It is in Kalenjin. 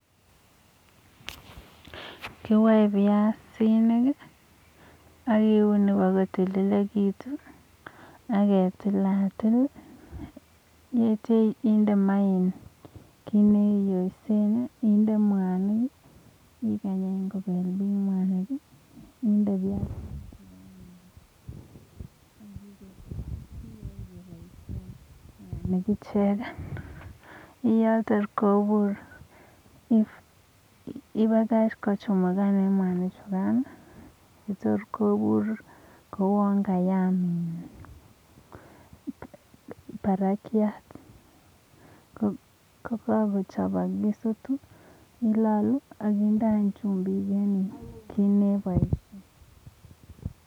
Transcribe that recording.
kiwaee piasinikik ak keunii kotililitu ak indee maah pakoruryo ak ipakach kochumugan mwanii chikaan attyam indee chumbiik akiaaam